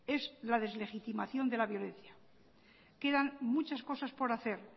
es la deslegitimación de la violencia quedan muchas cosas por hacer